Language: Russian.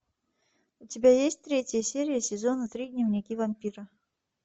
у тебя есть третья серия сезона три дневники вампира